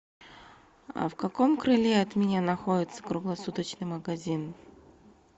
в каком крыле от меня находится круглосуточный магазин